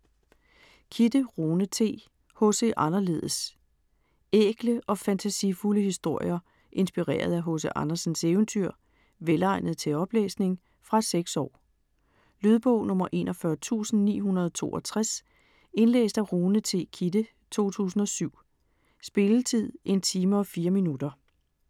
Kidde, Rune T.: H.C. Anderledes Ækle og fantasifulde historier inspireret af H.C. Andersens eventyr. Velegnet til oplæsning. Fra 6 år. Lydbog 41962 Indlæst af Rune T. Kidde, 2007. Spilletid: 1 time, 4 minutter.